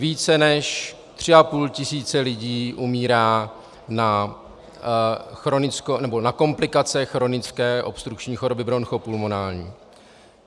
Více než tři a půl tisíce lidí umírá na komplikace chronické obstrukční choroby bronchopulmonální.